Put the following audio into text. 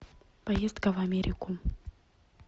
поездка в америку